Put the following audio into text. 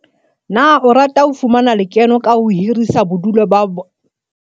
Na o rata ho fumana le keno ka ho hirisetsa bodulu ho bahahlaudi, ka ho ba neha bodulo bo tswileng matsoho ha ba etetse sebaka sa hao?